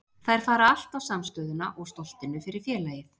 Þær fara allt á samstöðuna og stoltinu fyrir félagið.